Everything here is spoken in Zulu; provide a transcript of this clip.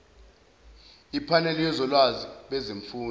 iphaneli yosolwazi bezemfundo